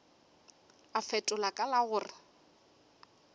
a fetola ka la gore